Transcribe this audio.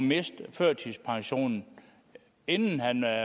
miste førtidspensionen inden han